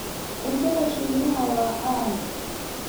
Cuntada Shiinaha waa caan.